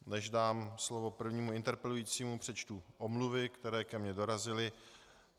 Než dám slovo prvnímu interpelujícímu, přečtu omluvy, které ke mně dorazily.